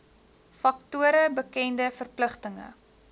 faktore bekende verpligtinge